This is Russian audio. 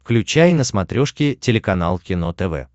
включай на смотрешке телеканал кино тв